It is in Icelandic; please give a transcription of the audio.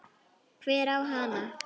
Hver á hana?